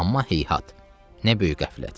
Amma heyyhat, nə böyük qəflət.